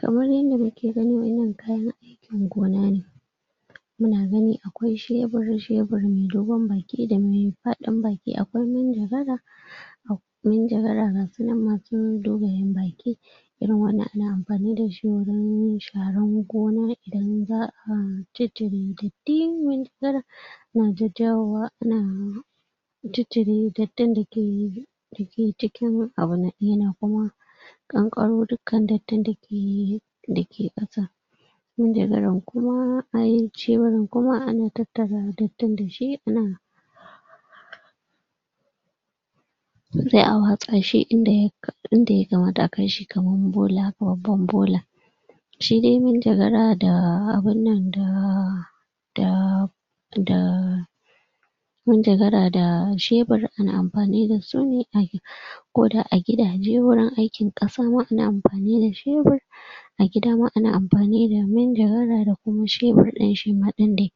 kamar yanda nake gani wayannan kayan aikin gona ne muna gani akwai shebur shebur me dogon baki part din baki akwai manjagara manjagara gasunan masu dogayen baki irin wannan ana amfani dashi wurin sharan gona idan za'a ciccire datti man jagara na jajjawowa ana ciccire dattin dake kankaro dukkan datti dake yi daga kasa manjagaran kuma ai sheburin kuma ana tattara dattin dashi ana wurinda za'a watsa inda ya kamata a kaishi kaman bola ko babban bola shide manjagara da abunnan da da da manjagara da shebur ana amfanida suna a ko da agidaje wurin aikin kasa ma amfanida shebur agidama ana mafanida manjagara da kuma shebur din shima din de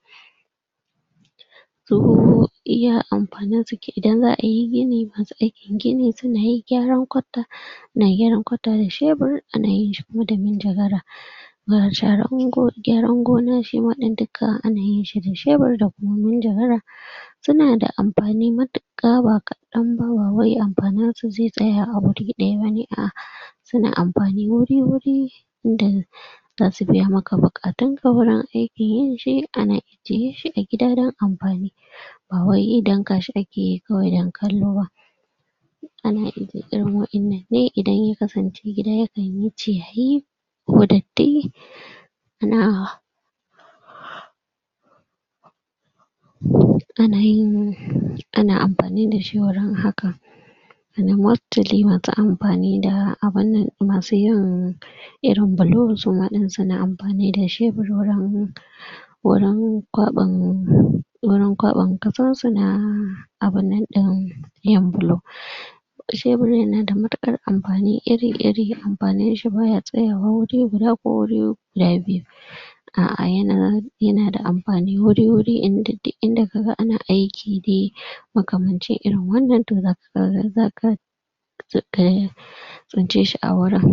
iya amfaninsa ke idan za'ayi gini aikin gini sunayi gyaran gwata ana gyaran kwata da shebur ana yinshi kuma da manjagara ga sharan gyaran goma shima din dukka ana yinshi ne da shebur da manjagara sunada amfani matuka ba kadanba bawai amfaninsa ze tsaya a wuri daya bane a'a suna amfani wuri wuri dan zasu biya muku bukatu tawurin aikinyi shi anayi suyishi agida dan amfani bawai damkashi akeyi kawai dan kalloba ni idan ya kasance gida yakanyi ciyayi ko datti ana ana yin ana amfani dashi wajan hakka su amfanida aban nan masuyin irin bulo sumadin suna amfani dashi wurin wurin kwaban wurin kwaban kasa suna abunnan din yan bulo shebur yanada matukar amfani iri iri amfaninshi baya tsayawa wuri guda ko wuri guda biyu a'a yana yanada amfani wuriwuri inda duk inda kaga ana aiki de makamanci irin wannan to zakaga tsin ceshi awurin